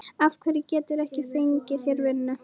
Af hverju geturðu ekki fengið þér vinnu?